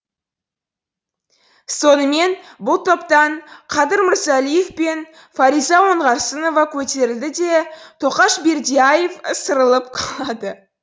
сонымен бұл топтан қадыр мырзалиев пен фариза оңғарсынова көтеріледі де тоқаш бердияров ысырылып қалады